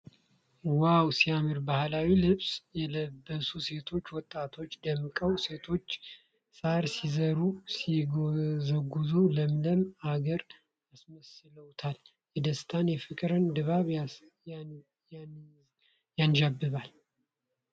ዋው ሲያምር ! ባህላዊ ልብስ የለበሱ ሴት ወጣቶች ደምቀዋል ፣ ሴቶቹ ሳር ሲዘሩ(ሲጎዘጉዙ ) ለምለም አገርን አስመስለውታል ። የደስታና የፍቅር ድባብ ያንዣብባል።